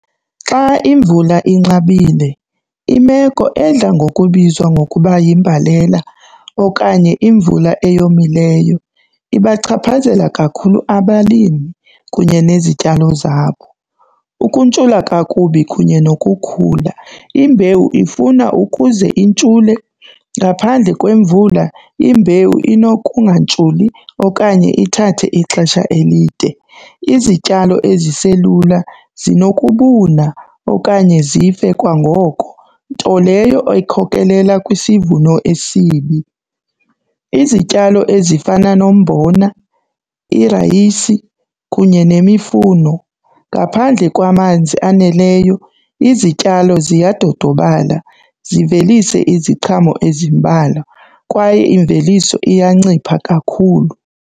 Xa imvula inqabile imeko edla ngokubizwa ngokuba yimbalela okanye imvula eyomileyo ibachaphazela kakhulu abalimi kunye nezityalo zabo. Ukuntshula kakubi kunye nokukhula, imbewu ifuna ukuze intshule. Ngaphandle kwemvula imbewu inokungantshuli okanye ithathe ixesha elide. Izityalo eziselula zinokubuna okanye zife kwangoko, nto leyo ekhokelela kwisivuno esibi. Izityalo ezifana nombona, irayisi kunye nemifuno, ngaphandle kwamanzi aneleyo izityalo ziyadodobala zivelise iziqhamo ezimbalwa kwaye imveliso iyancipha kakhulu.